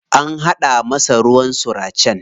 An haɗa masa ruwan suracen.